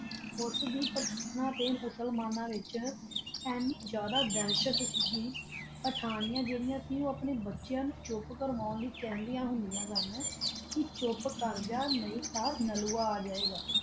ਓਸ ਵਾਕ਼ਾਤ ਪਠਾਣਾ ਤਾ ਮੁਸਲਮਾਨਾ ਵਿਤਚ ਆਨੀ ਕੁ ਦਾਸ਼ਤ ਸੀ ਪਠਾਨਿਯਾ ਜਰਿਆ ਸੀ ਓਹੋ ਆਪਣਾ ਬਚਾ ਨੂ ਚੋਪ ਕਰਨ ਵਾਸਤਾ ਖਾਂਦਿਆ ਸੀ ਚੋਪ ਕਰ ਜਾ ਨਹੀ ਤਾ ਨਲੂਆ ਆ ਜਯਾ ਗਾ